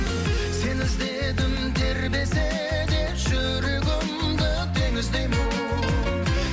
сені іздедім тербесе де жүрегімді теңіздей боп